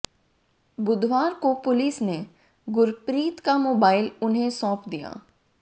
बुधवार को पुलिस ने गुरप्रीत का मोबाइल उन्हें सौंप दिया